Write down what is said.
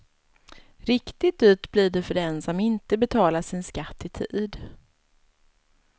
Riktigt dyrt blir det för den som inte betalar sin skatt i tid.